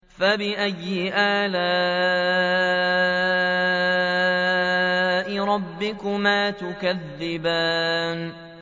فَبِأَيِّ آلَاءِ رَبِّكُمَا تُكَذِّبَانِ